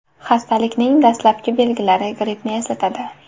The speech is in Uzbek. Xastalikning dastlabki belgilari grippni eslatadi.